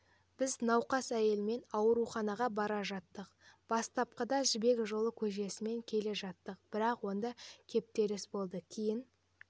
біз науқас әйелмен ауруханаға бара жаттық бастапқыда жібек жолы көшесімен келе жаттық бірақ онда кептеліс болды кейін